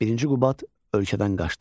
Birinci Qubad ölkədən qaçdı.